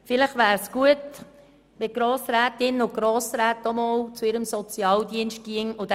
Vielleicht wäre es gut, die Grossrätinnen und Grossräte würden diesen Test auch bei ihrem Sozialdienst machen.